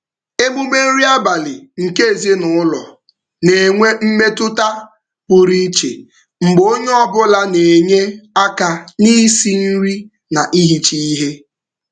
Emume nri abalị nke ezinụụlọ na-enwe mmetụta pụrụ iche mgbe onye ọbụla na-enye aka n'isi nri na ihicha ihe.